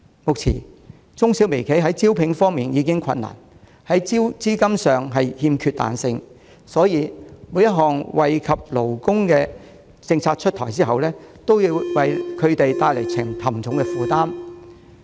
目前，中小微企在招聘時已遇上困難，在資金上又欠缺彈性，因此，每當有惠及勞工的政策出台，都會為它們帶來沉重負擔。